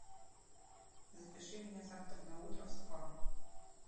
запиши меня завтра на утро в спа